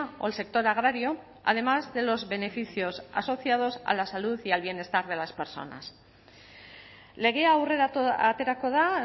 o el sector agrario además de los beneficios asociados a la salud y al bienestar de las personas legea aurrera aterako da